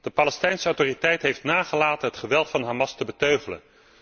De Palestijnse Autoriteit heeft nagelaten het geweld van Hamas te beteugelen.